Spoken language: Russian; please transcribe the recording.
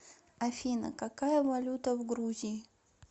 афина какая валюта в грузии